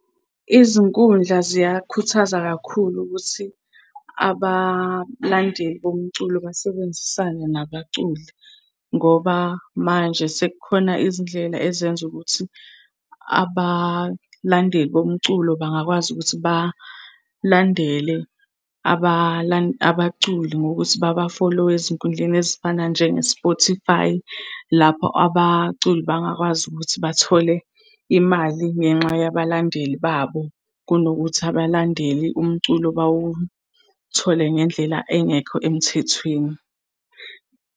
Izinkundla ziyakhuthaza kakhulu ukuthi abalandeli bomculo basebenzisane nabaculi. Ngoba manje sekukhona izindlela ezenza ukuthi abalandeli bomculo bangakwazi ukuthi balandele abaculi ngokuthi baba-follow-e ezinkundleni ezifana njenge-Spotify. Lapho abaculi bangakwazi ukuthi bathole imali ngenxa yabalandeli babo, kunokuthi abalandeli umculo bawuthole ngendlela engekho emthethweni.